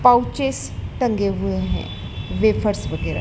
pouches टंगे हुए हैं वेफर्स वगैरा--